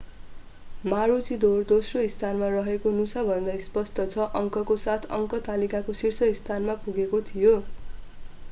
मारुचीडोर दोस्रो स्थानमा रहेको नुसा भन्दा स्पष्ट छ अङ्कको साथ अङ्क तालिकाको शीर्ष स्थानमा पुगेको थियो